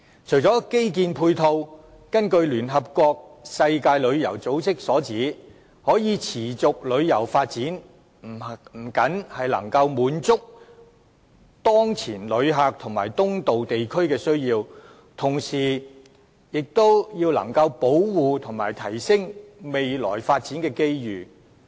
除了基建配套外，聯合國世界旅遊組織指出，"可持續旅遊發展不僅能滿足當前遊客和東道地區的需要，同時還能保護並提升未來的發展機遇。